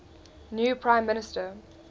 new prime minister